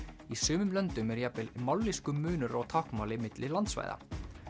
í sumum löndum er jafnvel mállýskumunur á táknmáli milli landsvæða